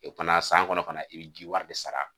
O tumana san kɔnɔ fana i bɛ jiwari de sara